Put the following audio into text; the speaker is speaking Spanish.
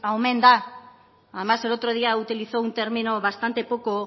omen da además el otro día utilizó un término bastante poco